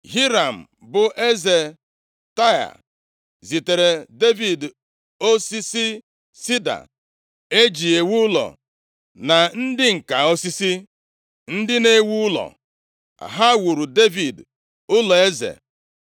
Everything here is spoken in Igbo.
Hiram bụ Eze Taịa, zitere Devid osisi sida e ji ewu ụlọ, na ndị ǹka osisi, ndị na-ewu ụlọ. Ha wuuru Devid ụlọeze.